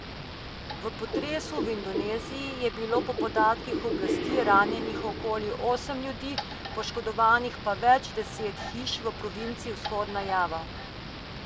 V potresu v Indoneziji je bilo po podatkih oblasti ranjenih okoli osem ljudi, poškodovanih pa več deset hiš v provinci Vzhodna Java.